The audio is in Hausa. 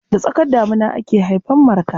Da tsakar damina ake haifar Marka.